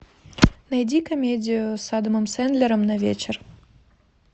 найди комедию с адамом сэндлером на вечер